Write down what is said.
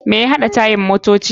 Me ya haɗa tayan motoci?